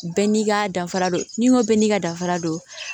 Bɛɛ n'i ka danfara don n'i ko bɛɛ n'i ka danfara don